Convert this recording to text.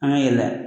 An ka yɛlɛ